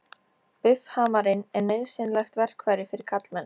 Buffhamarinn er nauðsynlegt verkfæri fyrir karlmenn.